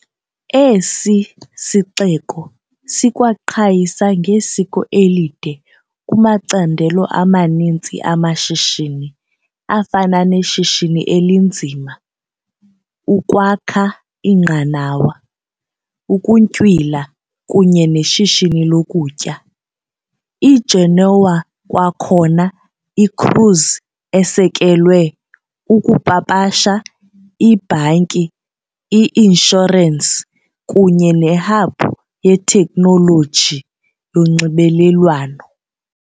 Esi sixeko sikwaqhayisa ngesiko elide kumacandelo amaninzi amashishini afana neshishini elinzima, ukwakha iinqanawa, ukuntywila kunye neshishini lokutya . I-Genoa kwakhona i -cruise esekelwe, ukupapasha, ibhanki - i- inshurensi kunye ne-hub yeteknoloji yonxibelelwano.